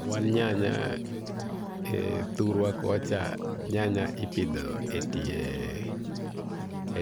Wan ynanya thurwa kocha nyanya ipidhome